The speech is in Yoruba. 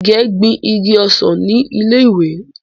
Ìgè gbin igi ọsàn ni ilé ìwé.